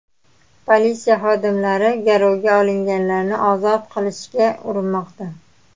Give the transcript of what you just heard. Politsiya xodimlari garovga olinganlarni ozod qilishga urinmoqda.